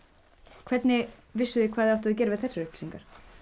hvernig vissuð þið hvað þið áttuð að gera við þessar upplýsingar